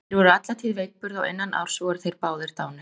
Þeir voru alla tíð veikburða og innan árs voru þeir báðir dánir.